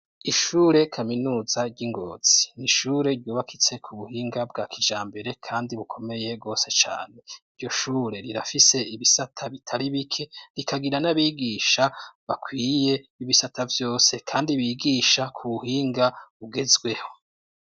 Ishure kaminuza ry'i Ngozi, n'ishure ryubakitse ku buhinga bwa kijambere, kandi bukomeye gose cane. Iryo shure rirafise ibisata bitari bike , rikagira n'abigisha bakwiye, ibisata vyose, kandi bigisha ku buhinga bugezweho.